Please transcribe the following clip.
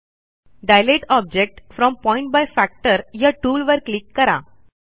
दिलते object from point by factor या टूलवर click करा